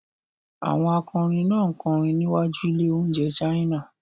Àwọn akọrin náà ń kọrin níwájú ilé-oúnjẹ China.